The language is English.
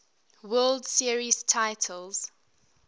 world series titles